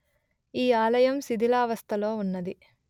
ఈ ఆలయం శిధిలావస్థలొ ఉన్నది